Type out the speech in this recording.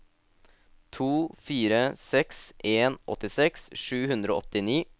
to fire seks en åttiseks sju hundre og åttini